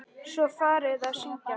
Svo var farið að syngja.